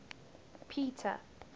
peter